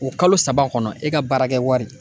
O kalo saba kɔnɔ e ka baarakɛ wari